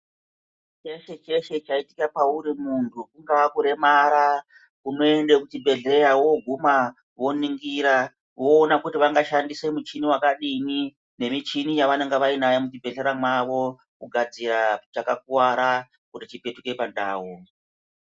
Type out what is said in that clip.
Cheshe cheshe chaitika pauri muntu kungaa kuremara unoende kuchibhehlera woguma woningira voona kuti vanga shandise muchini wakadinini nemichini yavanonga vainayo muchibhehlera mwavo kugadzira chakakuwara kuti chizdoke pandau.